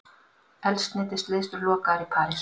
Eldsneytisleiðslur lokaðar í París